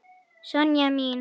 Sonja mín.